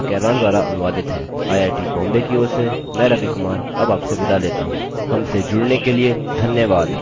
यह स्क्रिप्ट देवेन्द्र कैरवान द्वारा अनुवादित है आई आई टी बॉम्बे की ओर से मैं रवि कुमार अब आपसे विदा लेता हूँ हमसे जुड़ने के लिए धन्यवाद